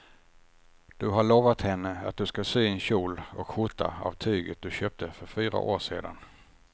Du har lovat henne att du ska sy en kjol och skjorta av tyget du köpte för fyra år sedan.